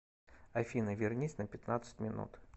афина вернись на пятнадцать минут